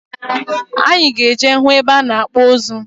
Anyị ga-eje hụ ebe a na-akpụ ụzụ.